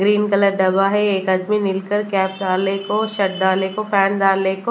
green colour डबा है एक आदमी मिलकर कैप डाले को छत डाले को फैन डाले को--